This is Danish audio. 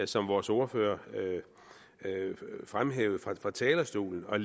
som vores ordfører fremhævede fra talerstolen og